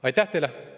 Aitäh teile!